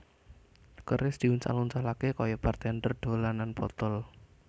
Keris diuncal uncalaké kaya bartender dolanan botol